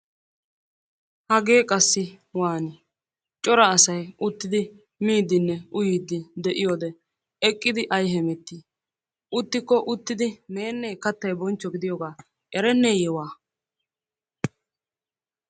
Hagee qassi waanii? coraa asay uttidi miidinne uyiidi de'iyoode eqqidi ayi heemetii? uttikko uttidi meenne kattay boonchcho gidiyooga ereenneye waa!